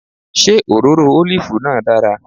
Ṣé òróró ólìfù náà dára